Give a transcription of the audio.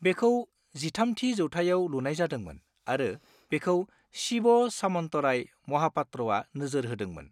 बेखौ 13थि जौथाइआव लुनाय जादोंमोन आरो बेखौ शिव सामन्तराय महापात्रआ नोजोर होदोंमोन।